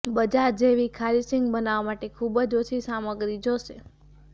બજાર જેવી ખારીશીંગ બનાવવા માટે ખુબ જ ઓછી સામગ્રી જોશે